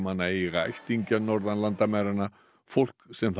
eiga ættingja norðan landamæranna fólk sem